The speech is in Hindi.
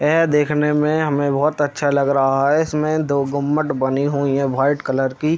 ऐ देखने में हमें बहुत अच्छा लग रहा है इसमें दो गुम्मट बनी हुई हैं वाइट कलर की।